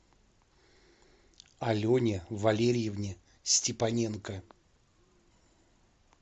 алене валерьевне степаненко